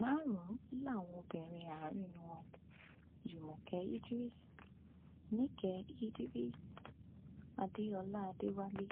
márùnún làwọn obìnrin àárín wọn jùmọkẹ idris nike idris adéọlá adéwálé